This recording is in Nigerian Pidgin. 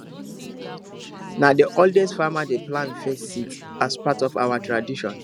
na the oldest farmer dey plant the first seed as part of our tradition